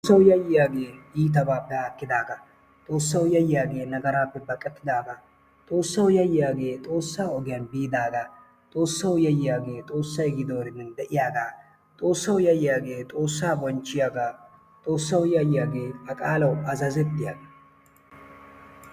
Xoossawu yayyiyaagee iitabaappe haakkidaagaa, Xoossaawu yayyiyaagee nagaraappe baqqatidaaga ,Xoossawu yayyiyagee Xoossaa ogiyani biidaaga, Xoossaawu yayyiyaagee Xoossay giiddoriden de'iyaga, bonchchiyaaga, a qaalawu azazettiyaaga.